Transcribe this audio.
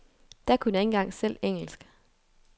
Da kunne jeg ikke engang selv engelsk.